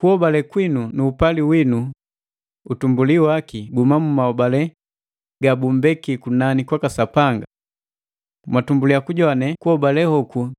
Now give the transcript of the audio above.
Kuhobale kwinu nu upali winu utumbuli waki guhuma mu mahobale gabumbeki kunani kwaka Sapanga. Mwatumbuliya kujowane kuhobale hoku